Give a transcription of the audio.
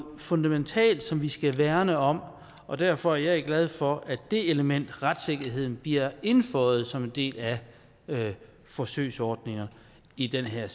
fundamentalt som vi skal værne om og derfor er jeg glad for at det element nemlig retssikkerheden bliver indføjet som en del af forsøgsordningerne i det her